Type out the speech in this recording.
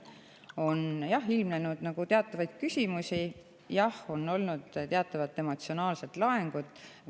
On ilmnenud teatavaid küsimusi ja on olnud teatavat emotsionaalset laengut.